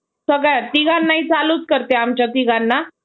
सगळ्या तिघांनाही चालू करते आमच्या तिघांना